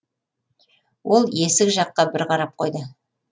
ол есік жаққа бір қарап қойды